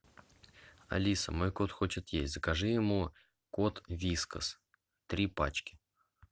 алиса мой кот хочет есть закажи ему кот вискас три пачки